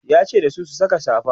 yace dasu "ku Saka safa!"